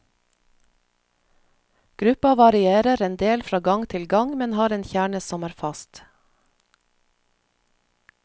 Gruppa varierer en del fra gang til gang, men har en kjerne som er fast.